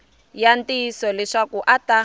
ya ntiyiso leswaku a ta